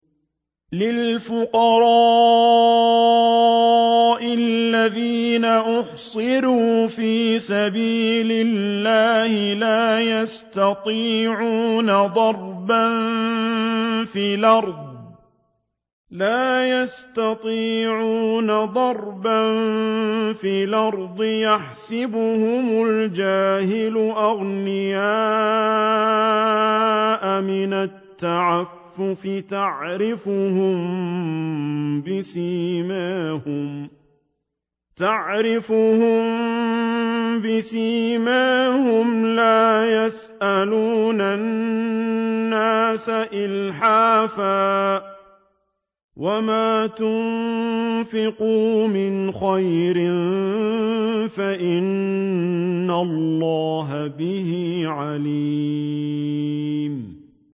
لِلْفُقَرَاءِ الَّذِينَ أُحْصِرُوا فِي سَبِيلِ اللَّهِ لَا يَسْتَطِيعُونَ ضَرْبًا فِي الْأَرْضِ يَحْسَبُهُمُ الْجَاهِلُ أَغْنِيَاءَ مِنَ التَّعَفُّفِ تَعْرِفُهُم بِسِيمَاهُمْ لَا يَسْأَلُونَ النَّاسَ إِلْحَافًا ۗ وَمَا تُنفِقُوا مِنْ خَيْرٍ فَإِنَّ اللَّهَ بِهِ عَلِيمٌ